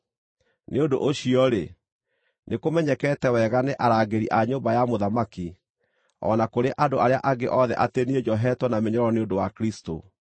Nĩ ũndũ ũcio-rĩ, nĩkũmenyekete wega nĩ arangĩri a nyũmba ya mũthamaki, o na kũrĩ andũ arĩa angĩ othe atĩ niĩ njohetwo na mĩnyororo nĩ ũndũ wa Kristũ.